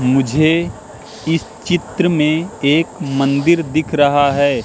मुझे इस चित्र में एक मंदिर दिख रहा है।